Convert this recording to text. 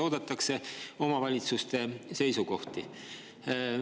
Oodatakse omavalitsuste seisukohti.